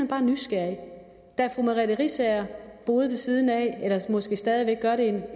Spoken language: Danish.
bare nysgerrig da fru merete riisager boede ved siden af og måske stadig væk gør det